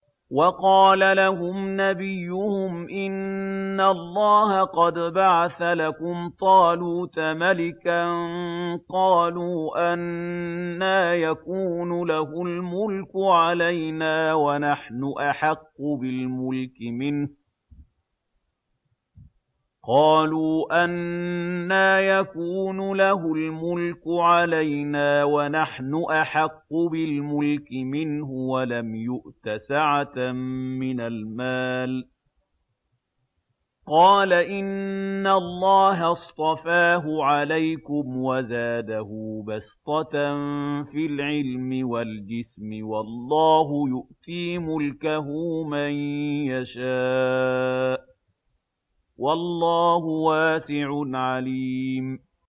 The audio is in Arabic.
وَقَالَ لَهُمْ نَبِيُّهُمْ إِنَّ اللَّهَ قَدْ بَعَثَ لَكُمْ طَالُوتَ مَلِكًا ۚ قَالُوا أَنَّىٰ يَكُونُ لَهُ الْمُلْكُ عَلَيْنَا وَنَحْنُ أَحَقُّ بِالْمُلْكِ مِنْهُ وَلَمْ يُؤْتَ سَعَةً مِّنَ الْمَالِ ۚ قَالَ إِنَّ اللَّهَ اصْطَفَاهُ عَلَيْكُمْ وَزَادَهُ بَسْطَةً فِي الْعِلْمِ وَالْجِسْمِ ۖ وَاللَّهُ يُؤْتِي مُلْكَهُ مَن يَشَاءُ ۚ وَاللَّهُ وَاسِعٌ عَلِيمٌ